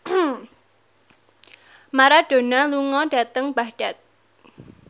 Maradona lunga dhateng Baghdad